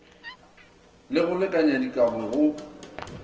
le go lekanya dikabo go